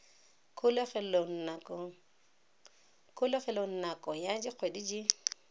kgolegelong nako ya dikgwedi di